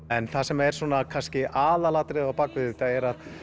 en það sem er kannski aðalatriðið á bakvið þetta er að